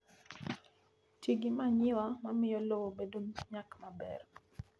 Ti gi manyiwa mamiyo lowo bedo gi nyak maber